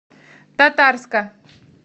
татарска